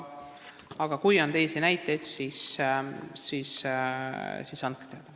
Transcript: Aga kui on teisi näiteid, siis andke teada.